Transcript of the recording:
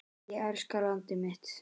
Ég elska landið mitt.